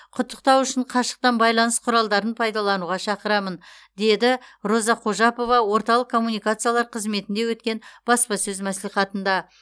құттықтау үшін қашықтан байланыс құралдарын пайдалануға шақырамын деді роза қожапова орталық коммуникациялар қызметінде өткен баспасөз мәслихатында